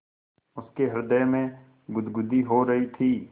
उसके हृदय में गुदगुदी हो रही थी